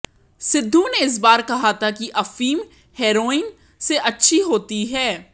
सिद्धू ने इस बार कहा था कि अफीम हेरोइन से अच्छी होती है